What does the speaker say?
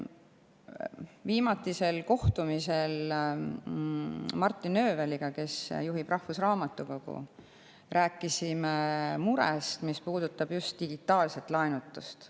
Viimatisel kohtumisel Martin Ööveliga, kes juhib rahvusraamatukogu, rääkisime murest, mis puudutab just digitaalset laenutust.